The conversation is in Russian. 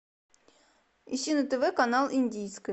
ищи на тв канал индийское